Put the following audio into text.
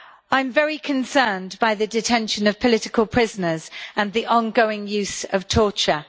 I am very concerned by the detention of political prisoners and the ongoing use of torture.